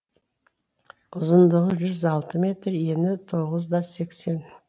ұзындығы жүз алты метр ені тоғыз да сексен